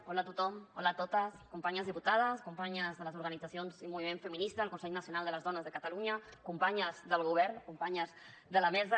hola a tothom hola a totes companyes diputades companyes de les organitzacions i moviment feminista del consell nacional de les dones de catalunya companyes del govern companyes de la mesa